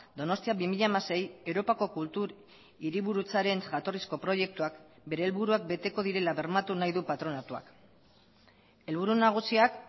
donostia bi mila hamasei europako kultur hiriburutzaren jatorrizko proiektuak bere helburuak beteko direla bermatu nahi du patronatuak helburu nagusiak